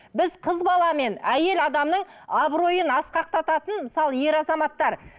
біз қыз бала мен әйел адамның абыройын асқақтататын мысалы ер азаматтар